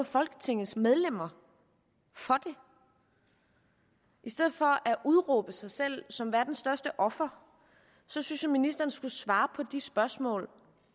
folketingets medlemmer for det i stedet for at udråbe sig selv som verdens største offer synes jeg ministeren skulle svare på de spørgsmål